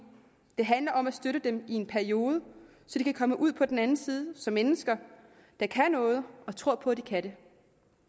det handler om at støtte dem i en periode så de kan komme ud på den anden side som mennesker der kan noget og tror på at de kan det